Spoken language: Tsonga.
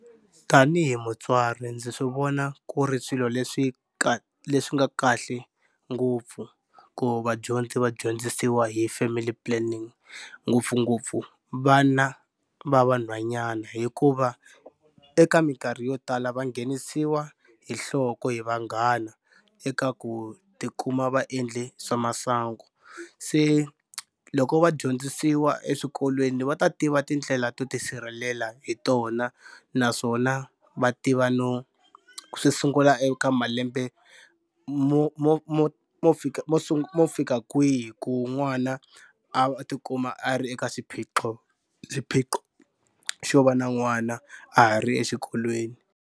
Tanihi mutswari ndzi swi vona ku ri swilo leswi leswi nga kahle ngopfu ku vadyondzi va dyondzisiwa hi family planning ngopfungopfu vana va vanhwanyana hikuva eka minkarhi yo tala va nghenisiwa hi nhloko hi vanghana eka ku tikuma va endle swa masangu. Se loko va dyondzisiwa eswikolweni va ta tiva tindlela to tisirhelela hi tona naswona va tiva no swi sungula eka malembe mo mo mo mo fika mo mo fika kwihi ku n'wana a tikuma a ri eka xiphiqo xiphiqo xo va na n'wana a ha ri exikolweni.